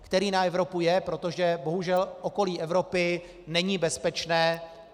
Který na Evropu je, protože bohužel okolí Evropy není bezpečné.